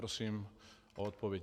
Prosím o odpověď.